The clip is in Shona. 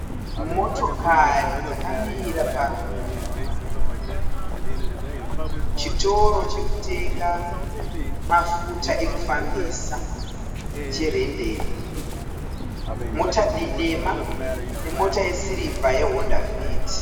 Motokari dzakamira pachitoro chokutenga mafuta ekufambisa cheRenden. Mota dema nemota yesirivha yeHonda Fit.